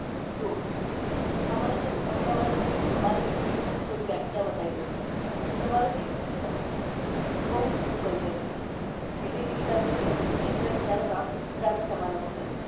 જો અમારું જે અમદાવાદ માં અમારું યુપીનું વ્યાખ્યા બતાવી દવ અમારું જે યુપી છે ને એ બોવ જૂનું culture છે એટલે કે વિચાર કરી શકો છો જયારે રામ સીતા ના જમાનાનું છે